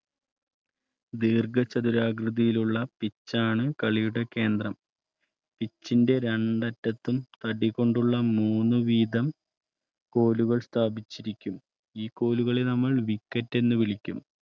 ദീർഘചതുരാകൃതിയിലുള്ളച്ചാണ് കളിയുടെ കേന്ദ്രം ദീർഘചതുരാകൃതിയിലുള്ള പിച്ചാണ് കളിയുടെ കേന്ദ്രം പിച്ചിന്റെ രണ്ട് അറ്റത്തും തടി കൊണ്ടുള്ള മൂന്ന് വീതംകോലുകൾ സ്ഥാപിച്ചിരിക്കും. ഈ കോലുകൾ നമ്മൾ വിക്കറ്റ് എന്ന് വിളിക്കും.